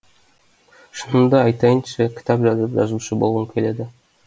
шынымды айтайыншы кітап жазып жазушы болғым келеді